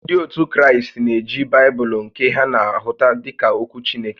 Ndị ótù Kraịst na-eji Baịbụlụ nke ha na-ahụta dịka ókwú Chineke